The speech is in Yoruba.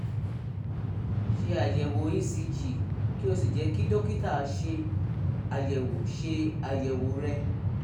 ṣe àyẹ̀wò ecg kí o sì jẹ́ kí dókítà ṣe àyẹ̀wò ṣe àyẹ̀wò rẹ